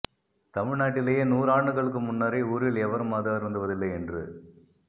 தமிழ் நாட்டிலேயே நூறாண்டுகளுக்கு முன்னரே ஊரில் எவரும் மது அருந்துவதில்லை என்று